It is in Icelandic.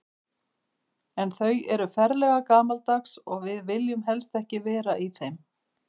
En þau eru ferlega gamaldags og við viljum helst ekki vera í þeim.